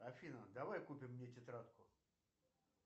афина давай купим мне тетрадку